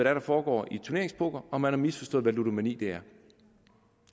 er der foregår i turneringspoker og man har misforstået hvad ludomani er